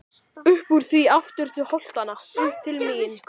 Uppúr því aftur til holtanna, upp til mín.